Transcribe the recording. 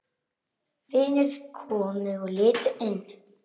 Vinir komu og litu inn.